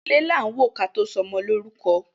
Ilẹ lan wo ki a to so ọmọ lorukọ.